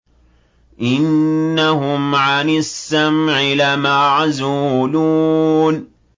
إِنَّهُمْ عَنِ السَّمْعِ لَمَعْزُولُونَ